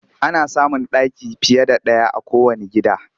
Ana samun ɗaki fiye da ɗaya a kowanne gida